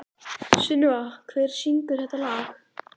Sunneva, hver syngur þetta lag?